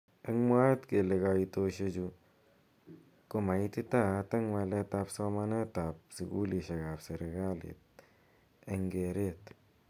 Eng mwaet kele kaitosheju ko maititaat eng walet ab somanet ab sukulishek ab serekali eng keret.